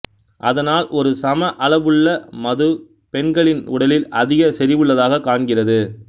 அதனால் ஒரு சம அளவுள்ள மது பெண்களின் உடலில் அதிக செறிவுள்ளதாகக் காண்கிறது